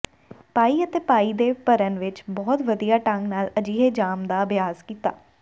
ਪਾਈ ਅਤੇ ਪਾਈ ਦੇ ਭਰਨ ਵਿੱਚ ਬਹੁਤ ਵਧੀਆ ਢੰਗ ਨਾਲ ਅਜਿਹੇ ਜਾਮ ਦਾ ਅਭਿਆਸ ਕੀਤਾ